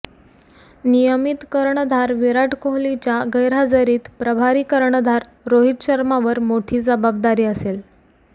नियमित कर्णधार विराट कोहलीच्या गैरहजेरीत प्रभारी कर्णधार रोहित शर्मावर मोठी जबाबदारी असेल